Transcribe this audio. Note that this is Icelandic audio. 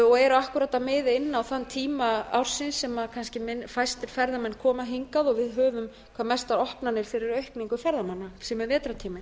og eru akkúart að miða inn á þann tíma ársins sem kannski fæstir ferðamenn koma hingað og við höfum hvað mesta opnanir fyrir aukningu ferðamanna sem er vetrartíminn